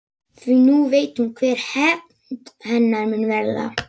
Því nú veit hún hver hefnd hennar mun verða.